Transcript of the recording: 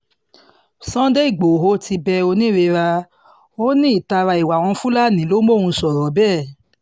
sunday igboro ti bẹ oonírera ó ní ìtara ìwà àwọn fúlàní ló mọ̀n sọ̀rọ̀ bẹ́ẹ̀